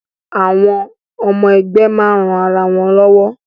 Àwọn ọmọ ẹgbẹ́ máa ń ran ara wọn lọ́wọ́